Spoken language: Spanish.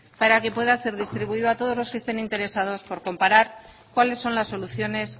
para que pueda ser distribuido a todos los que estén interesados por comparar cuáles son las soluciones